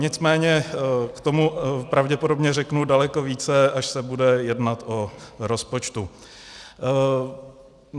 Nicméně k tomu pravděpodobně řeknu daleko více, až se bude jednat o rozpočtu.